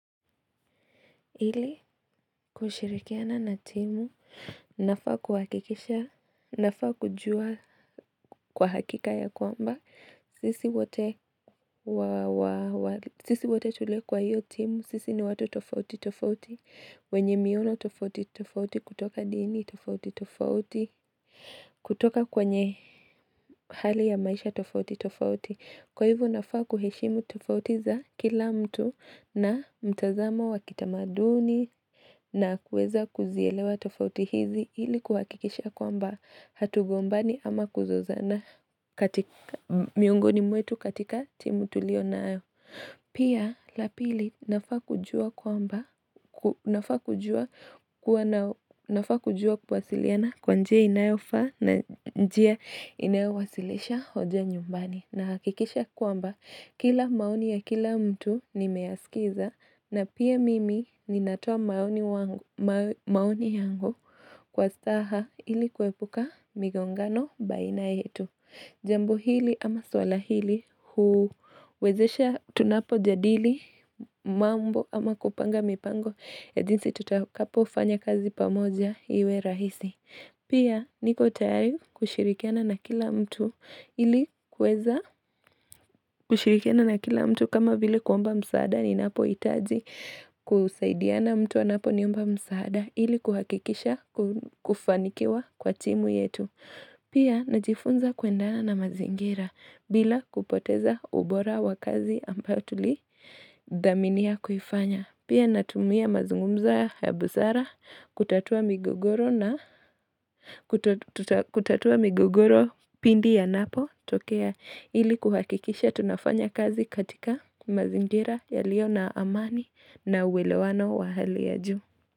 Hili kushirikiana na timu, nafaa kuhakikisha, nafaa kujua kwa hakika ya kwamba, sisi wate tulio kwa hiyo timu, sisi ni watu tofauti tofauti, wenye miono tofauti tofauti kutoka dini tofauti tofauti, kutoka kwenye hali ya maisha tofauti tofauti. Kwa hivyo nafaa kuheshimu tofauti za kila mtu na mtazamo wakitamaduni na kueza kuzielewa tofauti hizi ili kuhakikisha kwamba hatugombani ama kuzozana miongoni mwetu katika timu tulio nayo. Pia la pili nafaa kujua kuwasiliana kwa njia inayofa na njia inayowasilisha hoja nyumbani. Na hakikisha kuamba kila maoni ya kila mtu nimeyaskiza na pia mimi ninatoa maoni yangu kwa saha ili kwepuka migongano baina yetu. Jambo hili ama swala hili huwezesha tunapo jadili mambo ama kupanga mipango ya jinsi tutakapo fanya kazi pamoja iwe rahisi. Pia niko tayari kushirikiana na kila mtu ili kuweza kushirikiana na kila mtu kama vile kuomba msaada ninapo hitaji kusaidiana mtu anapo niomba msaada ili kuhakikisha kufanikiwa kwa timu yetu. Pia najifunza kuendana na mazingira bila kupoteza ubora wa kazi ambayo tulidaminiya kufanya. Pia natumia mazungumzo ya buzara kutatua migogoro kutatua migugoro pindi yanapo tokea ili kuhakikisha tunafanya kazi katika mazingira yaliyo na amani na uwelewano wa hali ya juu.